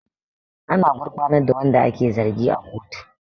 Ana gurfanar da wanda ake zargi a kotu